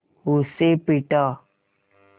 उसे पीटा